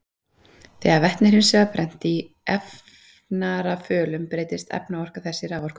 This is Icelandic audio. Þegar vetni er hins vegar brennt í efnarafölum breytist efnaorka þess í raforku.